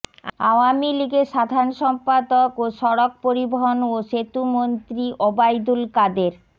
আওয়ামী লীগের সাধারণ সম্পাদক ও সড়ক পরিবহন ও সেতুমন্ত্রী ওবায়দুল কাদের